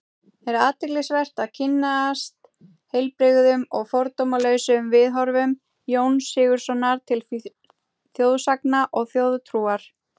Er athyglisvert að kynnast heilbrigðum og fordómalausum viðhorfum Jóns Sigurðssonar til þjóðsagna og þjóðtrúar.